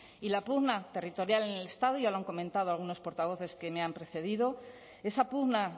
y la pugna territorial en el estado y ya lo han comentado algunos portavoces que me han precedido esa pugna